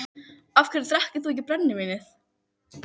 Af hverju drekkur þú ekki brennivínið?